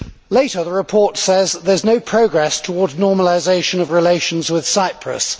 Later, the report says that there is no progress towards normalisation of relations with Cyprus.